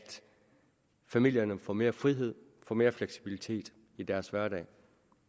familierne får mere frihed og mere fleksibilitet i deres hverdag